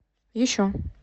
еще